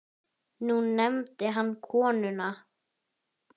Nú nefndi hann konuna